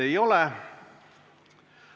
Ei ole.